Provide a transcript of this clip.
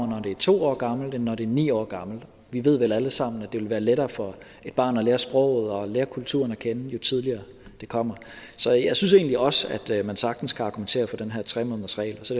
når det er to år gammelt end når det er ni år gammelt vi ved vel alle sammen at det vil være lettere for et barn at lære sproget og lære kulturen at kende jo tidligere det kommer så jeg synes egentlig også at man sagtens kan argumentere for den her tre månedersregel så